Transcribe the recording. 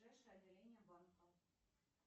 ближайшее отделение банка